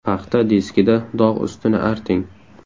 Paxta diskida dog‘ ustini arting.